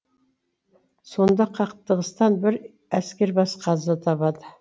сонда қақтығыстан бір әскербасы қаза табады